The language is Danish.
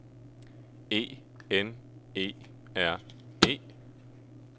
E N E R E